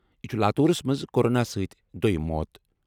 یہِ چھُ لاتوٗرَس منٛز کورونا سۭتۍ دۄیِم موت۔